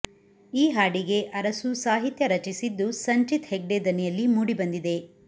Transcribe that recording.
ಈ ಹಾಡಿಗೆ ಅರಸು ಸಾಹಿತ್ಯ ರಚಿಸಿದ್ದು ಸಂಚಿತ್ ಹೆಗ್ಡೆೆ ದನಿಯಲ್ಲಿ ಮೂಡಿಬಂದಿದೆ